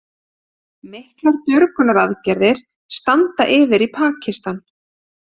Miklar björgunaraðgerðir standa yfir í Pakistan